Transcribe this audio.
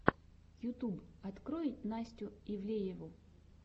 ютуб открой настю ивлееву